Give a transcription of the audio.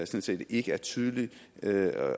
set ikke er tydelige